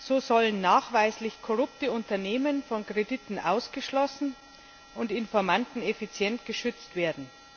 So sollen nachweislich korrupte Unternehmen von Krediten ausgeschlossen und Informanten effizient geschützt werden.